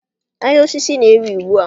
Ahịa osisi na-ewu ugbu a